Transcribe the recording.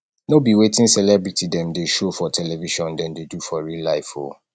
no be wetin celebity dem dey show for television dem dey do for real life o